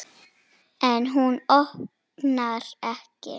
En hún opnar ekki.